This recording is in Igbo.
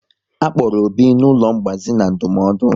A kpọrọ Obi n'ụlọ ngbazi na ndụmọdụ